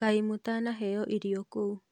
Kaĩ mũtanaheo irio kũu?